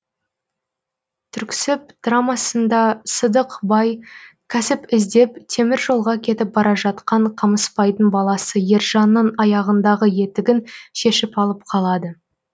түріксіб драмасында сыдық бай кәсіп іздеп темір жолға кетіп бара жатқан қамыспайдың баласы ержанның аяғындағы етігін шешіп алып қалады